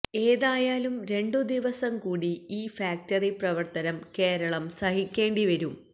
ഏതായാലും രണ്ടു ദിവസം കൂടി ഈ ഫാക്ടറി പ്രവർത്തനം കേരളം സഹിക്കേണ്ടി വരും